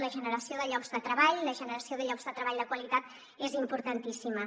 la generació de llocs de treball la generació de llocs de treball de qualitat és importantíssima